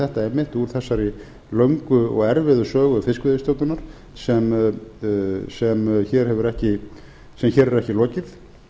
þetta einmitt úr þessari löngu og erfiðu sögu fiskveiðistjórnar sem hér er ekki lokið